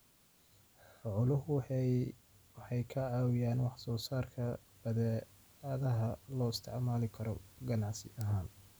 Xooluhu waxay ka caawiyaan wax soo saarka badeecadaha loo isticmaali karo ganacsi ahaan.